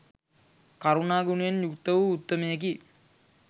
කරුණා ගුණයෙන් යුක්ත වූ උත්තමයෙකි.